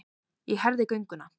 Ég herði gönguna.